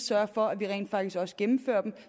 sørge for at vi rent faktisk også gennemfører dem